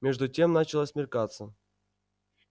между тем начало смеркаться